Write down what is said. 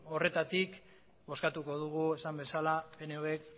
horretatik bozkatuko dugu esan bezala pnvk